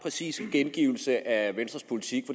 præcis gengivelse af venstres politik